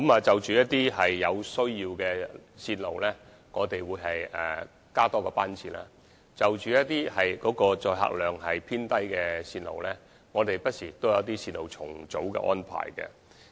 就一些有需要的線路，我們會增加班次，而就一些載客量偏低的線路，我們不時會有重組線路的安排。